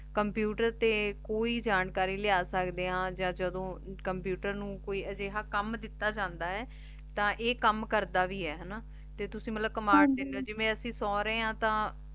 computer ਤੇ ਕੋਈ ਜਾਣਕਾਰੀ ਲਾਯਾ ਸਕਦੇ ਆਂ ਯਾਨ ਜਦੋਂ ਕੰਪਿਊਟਰ ਨੂ ਕੋਈ ਅਜੇਹਾ ਕਾਮ ਦਿਤਾ ਜਾਂਦਾ ਆਯ ਤਾਂ ਈਯ ਕਾਮ ਕਰਦਾ ਵੀ ਆਯ ਹਾਨਾ ਤੇ ਤੁਸੀਂ ਮਤਲਬ ਕਮਾਂਡ ਦੇਂਦੇ ਊ ਜਿਵੇਂ ਅਸੀਂ ਮਤਲਬ ਸੂ ਰਹੀ ਆਂ ਤਾਂ